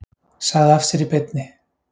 Sagði af sér í beinni